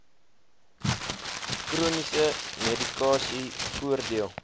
chroniese medikasie voordeel